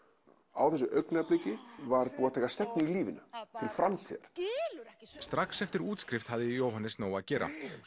á þessu augnabliki var búið að taka stefnu í lífinu til framtíðar strax eftir útskrift hafði Jóhannes nóg að gera